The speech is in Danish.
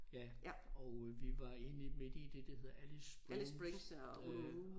Ja og øh vi var inde midt i det der hedder Alice Springs øh